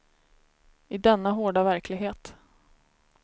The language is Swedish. I denna hårda verklighet.